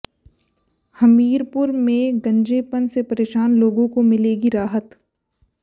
हमीरपुर में गंजेपन से परेशान लोगों को मिलेगी राहत